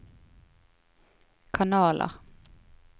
kanaler